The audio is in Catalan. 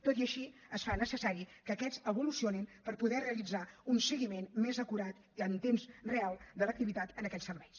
tot i així es fa necessari que aquests evolucionin per poder realitzar un seguiment més acurat i en temps real de l’activitat en aquests serveis